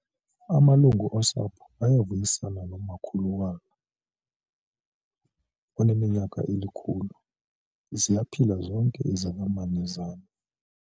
Amalungu osapho avuyisana nomakhulu walo oneminyaka elikhulu. ziyaphila zonke izalamane zam